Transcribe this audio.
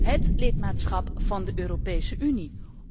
Het lidmaatschap van de Europese Unie.